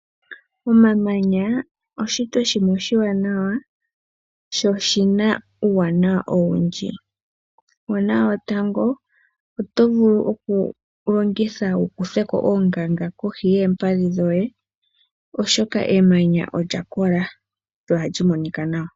Omamanya oshishitwa shimwe oshiwanawa sho oshina uuwanawa owundji. Uuwanawa wotqngo oto vulu okuga longitha wu kuthe ko oongaga kohi yoompadhi dhoye, oshoka emanya olya kola lyo ohali monika nawa.